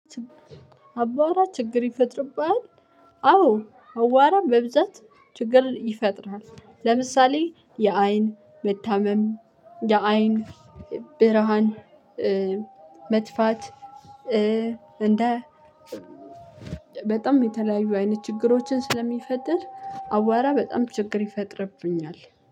አቧራ ችግር ይፈጥርብሃል? አዎ አቧራም በብዛት ችግርን ይፈጥርሃል። ለምሳሌ የአይን መታመም የአይን ብርሃን መጥፋት። እንደ በጣም የተለያዩ አይነት ችግሮችን ስለሚፈጥር አቧራ በጣም ችግር ይፈጥርብኛል።